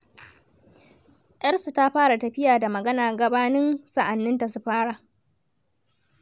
Yarsu ta fara tafiya da magana gabanin sa'anninta su fara.